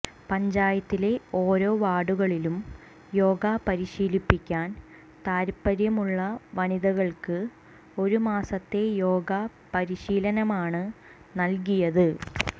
പഞ്ചായത്തിലെ ഓരോ വാർഡുകളിലും യോഗ പരിശീലിക്കാൻ താത്പര്യമുള്ള വനിതകൾക്ക് ഒരുമാസത്തെ യോഗ പരിശീലനമാണ് നൽകിയത്